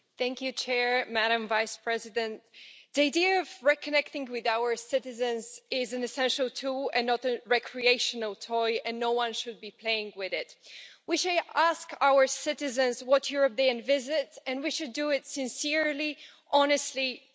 Madam President, the idea of reconnecting with our citizens is an essential tool, and not a recreational toy, and no one should be playing with it. We should ask our citizens what Europe they envisage, and we should do it sincerely, honestly, and truthfully.